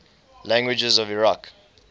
languages of iraq